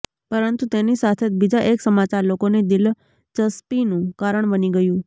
પરંતુ તેની સાથે જ બીજા એક સમાચાર લોકોની દિલચસ્પીનું કારણ બની ગયું